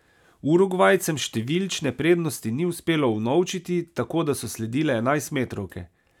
Urugvajcem številčne prednosti ni uspelo unovčiti, tako da so sledile enajstmetrovke.